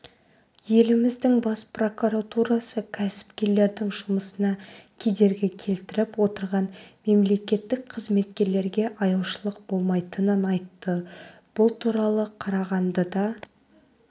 еліміздің бас прокуратурасы кәсіпкерлердің жұмысына кедергі келтіріп отырған мемлекеттік қызметкерлерге аяушылық болмайтынын айтты бұл туралы қарағандыда